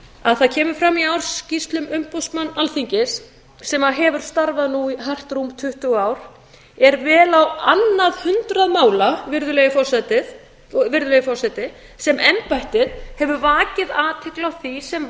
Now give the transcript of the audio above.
að það kemur fram í ársskýrslum umboðsmanns alþingis sem hefur starfað nú í rúm tuttugu ár er vel á annað hundrað mála virðulegi forseti sem embættið hefur vakið athygli á því sem